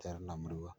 tina murua.